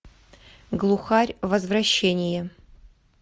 глухарь возвращение